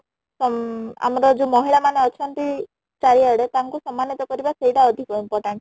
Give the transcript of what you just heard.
ମଂ ଆମର ଯୋଉ ମହିଳା ମାନେ ଅଛନ୍ତି ଚାରି ଆଡେ ତାଙ୍କୁ ସମ୍ମାନିତ କରିବା ସେଇଟା ଅଧିକ important ?